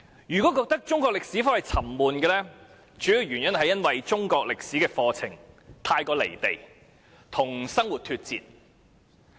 如果覺得中國歷史科沉悶，主要原因是中史課程太"離地"，與生活脫節。